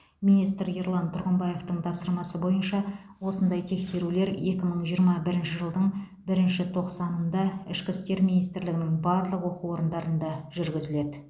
министр ерлан тұрғымбаевтың тапсырмасы бойынша осындай тексерулер екі мың жиырма бірінші жылдың бірінші тоқсанында ішкі істер министрлігінің барлық оқу орындарында жүргізіледі